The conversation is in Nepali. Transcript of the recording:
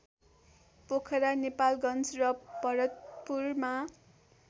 पोखरा नेपालगन्ज र भरतपुरमा